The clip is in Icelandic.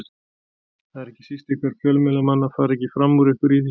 Það er ekki síst ykkar fjölmiðlamanna að fara ekki fram úr ykkur í því.